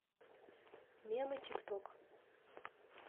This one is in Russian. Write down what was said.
мемы тик ток